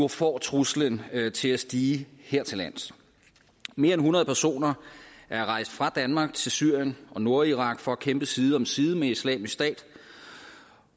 får truslen til at stige hertillands mere end hundrede personer er rejst fra danmark til syrien og nordirak for at kæmpe side om side med islamisk stat